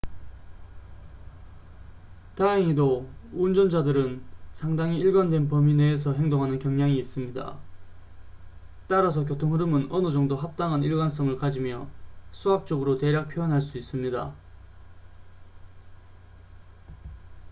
다행히도 운전자들은 상당히 일관된 범위 내에서 행동하는 경향이 있습니다 따라서 교통 흐름은 어느 정도 합당한 일관성을 가지며 수학적으로 대략 표현할 수 있습니다